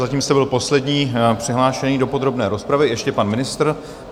Zatím jste byl poslední přihlášený do podrobné rozpravy, ještě pan ministr.